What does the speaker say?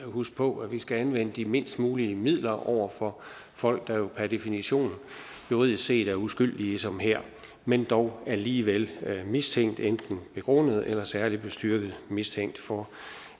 huske på at vi skal anvende de mindst mulige midler over for folk der jo per definition juridisk set er uskyldige som her men dog alligevel mistænkt enten begrundet eller særlig bestyrket mistænkt for